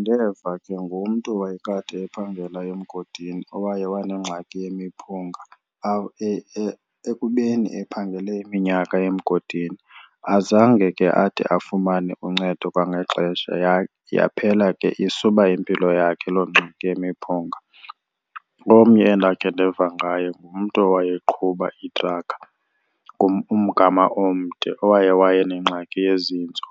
Ndeva ke ngomntu owayekade ephangela emgodini owaye wanengxaki yemiphunga ekubeni ephangele iminyaka emgodini. Azange ke ade afumane uncedo kwangexesha, yaphela ke isuba impilo yakhe loo ngxaki yemiphunga. Omnye endakhe ndeva ngaye ngumntu owayeqhuba itrakha umgama omde owaye wayenengxaki yezintso.